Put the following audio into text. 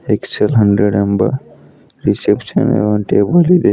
XL hundred ಎಂಬ reception ಯ ಒಂದ್ ಟೇಬಲ್ ಇದೆ.